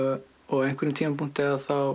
á einhverjum tímapunkti